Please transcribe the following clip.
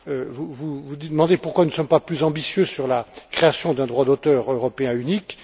Vous vous demandez pourquoi nous ne sommes pas plus ambitieux sur la création d'un droit d'auteur européen unique.